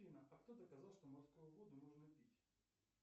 афина а кто доказал что морскую воду можно пить